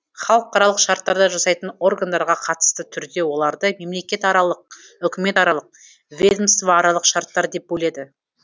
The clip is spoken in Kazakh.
халықаралық шарттарды жасайтын органдарға қатысты түрде оларды мемлекетаралық үкіметаралық ведомствоаралық шарттар деп бөледі